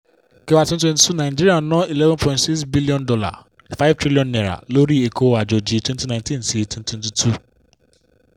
kẹwàá twenty twenty two nàìjíríà ná eleven point six billion naira five trillion naira lórí ẹ̀kọ́ àjòjì twenty nineteen-twenty twenty two.